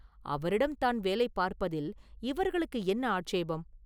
அவரிடம் தான் வேலை பார்ப்பதில் இவர்களுக்கு என்ன ஆட்சேபம்?